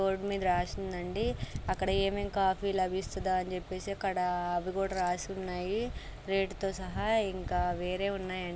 Board మీద రాసిందండి అక్కడ ఏమేమి కాఫీలు లభిస్తదో అని చెప్పేసి అక్కడ అవి కూడా రాసున్నాయి రేట్ తో సహా ఇంకా వేరే ఉన్నాయండి.